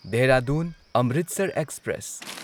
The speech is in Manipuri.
ꯗꯦꯍꯔꯥꯗꯨꯟ ꯑꯃ꯭ꯔꯤꯠꯁꯔ ꯑꯦꯛꯁꯄ꯭ꯔꯦꯁ